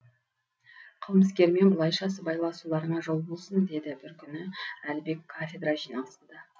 қылмыскермен бұлайша сыбайласуларыңа жол болсын деді бір күні әлібек кафедра жиналысында